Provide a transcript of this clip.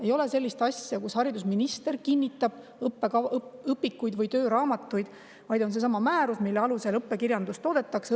Ei ole sellist asja, et haridusminister kinnitab õpikuid või tööraamatuid, vaid on seesama määrus, mille alusel õppekirjandust toodetakse.